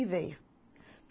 E veio.